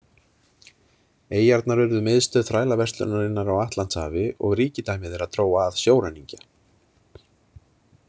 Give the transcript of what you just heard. Eyjarnar urðu miðstöð þrælaverslunarinnar á Atlantshafi og ríkidæmi þeirra dró að sjóræningja.